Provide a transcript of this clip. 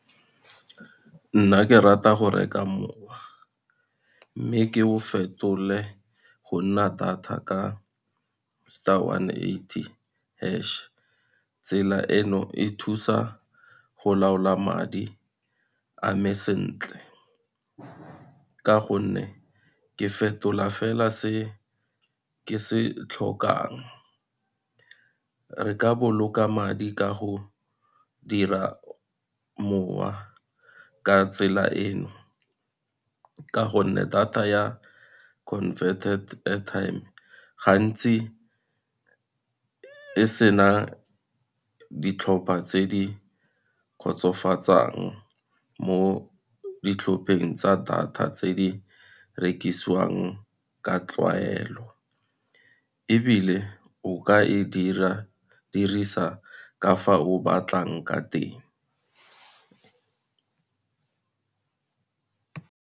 Nna ke rata go reka mowa, mme ke o fetole go nna data ka, star one eighty hash. Tsela eno e thusa go laola madi ame sentle ka gonne, ke fetola fela se ke se tlhokang. Re ka boloka madi ka go dira mowa ka tsela eno, ka gonne data ya converted airtime gantsi e sena ditlhopha tse di kgotsofatsang mo ditlhopheng tsa data tse di rekisiwang ka tlwaelo, ebile o ka e dirisa ka fa o batlang ka teng.